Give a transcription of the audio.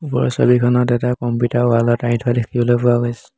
ওপৰৰ ছবিখনত এটা কম্পিউটাৰ ৱাল ত আঢ়ি থোৱা দেখিবলৈ পোৱা গৈছ --